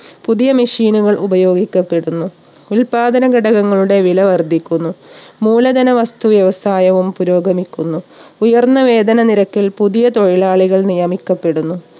പുതിയ machine ഉകൾ ഉപയോഗിക്കപ്പെടുന്നു ഉത്പാദന ഘടകങ്ങളുടെ വില വർധിക്കുന്നു മൂലധന വസ്തു വ്യവസായവും പുരോഗമിക്കുന്നു. ഉയർന്ന വേതനം നിരക്കിൽ പുതിയ തൊഴിലാളികൾ നിയമിക്കപ്പെടുന്നു